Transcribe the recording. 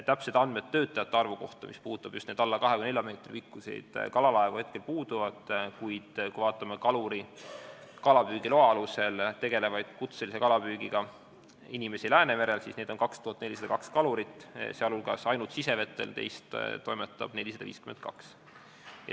Täpsed andmed töötajate arvu kohta, mis puudutab just neid alla 24 meetri pikkuseid kalalaevu, puuduvad, kuid kaluri kalapüügiloa alusel kutselise kalapüügiga Läänemerel tegelevaid inimesi on 2402, sh ainult sisevetel toimetab 452.